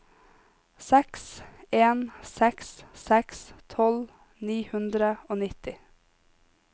seks en seks seks tolv ni hundre og nitti